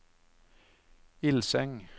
Ilseng